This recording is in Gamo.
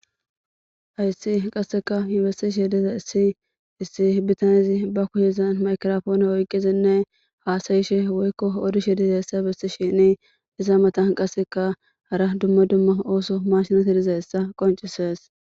Hayisi qaseka yotishe dizayisi issi bitanezi bakushezan mayigrapone oyikizine hasayishe woyikko odishe dizayisa besisheni iza matan qaseka hara dumma dumma oso mashineti dizayisa qoncises.